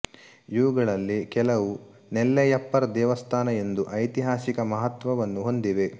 ಇವುಗಳಲ್ಲಿ ಕೆಲವು ನೆಲ್ಲೆಯಪ್ಪರ್ ದೇವಸ್ಥಾನ ಎಂದು ಐತಿಹಾಸಿಕ ಮಹತ್ವವನ್ನು ಹೊಂದಿವೆ